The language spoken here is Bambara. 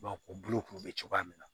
u bolo k'u bɛ cogoya min na